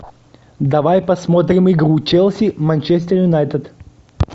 давай посмотрим игру челси манчестер юнайтед